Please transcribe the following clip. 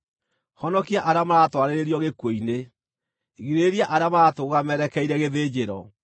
Honokia arĩa maratwarĩrĩrio gĩkuũ-inĩ; girĩrĩria arĩa maratũgũũga merekeire gĩthĩnjĩro.